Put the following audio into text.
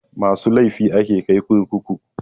Masu laifi ake kai kurkuku.